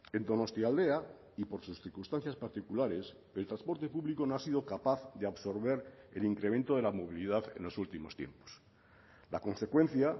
en donostialdea y por sus circunstancias particulares el transporte público no ha sido capaz de absorber el incremento de la movilidad en los últimos tiempos la consecuencia